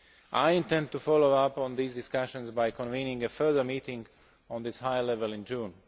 I intend to follow up on these discussions by convening a further meeting at this high level in June.